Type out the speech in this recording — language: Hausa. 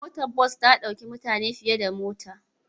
Motar bas ta ɗauki mutane fiye da mota.